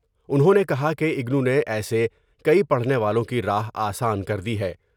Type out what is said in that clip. انھوں نے کہا کہ اگنو نے ایسے کئی پڑھنے والوں کی راہ آسان کر دی ہے ۔